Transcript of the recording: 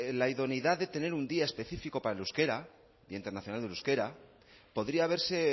la idoneidad de tener un día específico para el euskara el día internacional del euskara podría verse